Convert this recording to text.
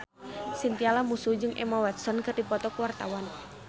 Chintya Lamusu jeung Emma Watson keur dipoto ku wartawan